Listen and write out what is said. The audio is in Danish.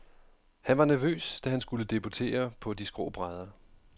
Han var nervøs, da han skulle debutere på de skrå brædder.